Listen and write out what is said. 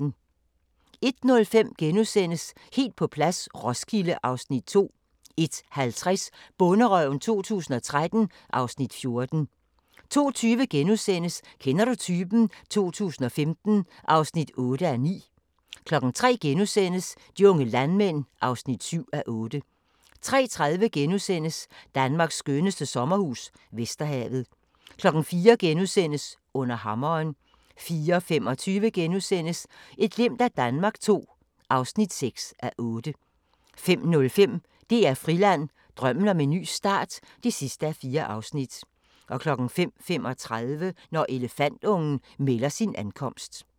01:05: Helt på plads - Roskilde (Afs. 2)* 01:50: Bonderøven 2013 (Afs. 14) 02:20: Kender du typen? 2015 (8:9)* 03:00: De unge landmænd (7:8)* 03:30: Danmarks skønneste sommerhus - Vesterhavet * 04:00: Under hammeren * 04:25: Et glimt af Danmark II (6:8)* 05:05: DR Friland: Drømmen om en ny start (4:4) 05:35: Når elefantungen melder sin ankomst